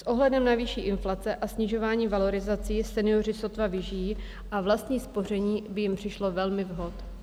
S ohledem na vyšší inflaci a snižování valorizací senioři sotva vyžijí a vlastní spoření by jim přišlo velmi vhod.